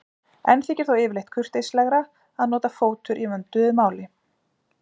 Enn þykir þó yfirleitt kurteislegra að nota fótur í vönduðu máli.